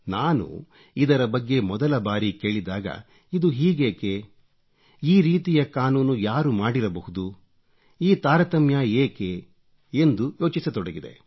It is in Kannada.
ನಾನು ಇದರ ಬಗ್ಗೆ ಮೊದಲ ಬಾರಿ ಕೇಳಿದಾಗ ಇದು ಹೀಗೇಕೆ ಈ ರೀತಿಯ ಕಾನೂನು ಯಾರು ಮಾಡಿರಬಹುದು ಈ ತಾರತಮ್ಯ ಏಕೆ ಎಂದು ಯೋಚಿಸತೊಡಗಿದೆ